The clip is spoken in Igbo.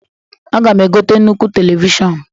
Aga'm egote nnukwu telivishọn